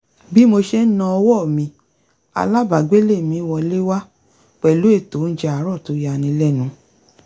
bí mo ṣe ń na ọwọ́ mi alábàágbélé mi wọlé wá pẹ̀lú ètò oúnjẹ àárọ̀ tó yani lẹ́nu